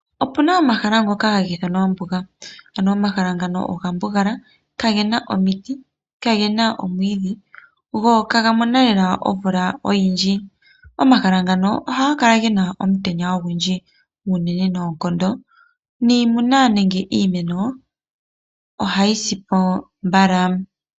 Opu na omahala ngoka haga ithanwa ombuga, ano omahala ngano oga mbugala kage na omiti, kage na omwiidhi go ihaga mono lela omvula oyindji. Omahala ngano ohaga kala ge na omutenya ogundji unene nookondo niimuna nenge iimeno ohayi si po mbala.